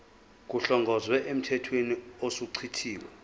kuhlongozwe emthethweni osuchithiwe